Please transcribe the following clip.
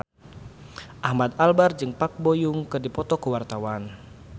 Ahmad Albar jeung Park Bo Yung keur dipoto ku wartawan